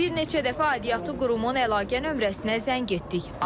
Bir neçə dəfə aidiyyatı qurumun əlaqə nömrəsinə zəng etdik.